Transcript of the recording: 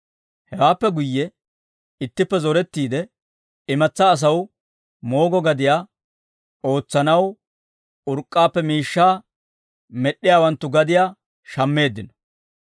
Hewaappe guyye ittippe zorettiide, imatsaa asaw moogo gadiyaa ootsanaw urk'k'aappe miishshaa med'd'iyaawanttu gadiyaa shammeeddino.